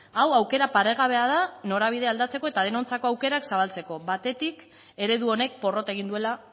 hau aukera paregabea da norabidea aldatzeko eta denontzako aukerak zabaltzeko batetik eredu honek porrot egin duela